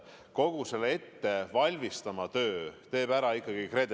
Kogu selle ettevalmistamise töö teeb aga ära ikkagi KredEx.